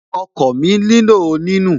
Okọ̀ mi nílò ní nù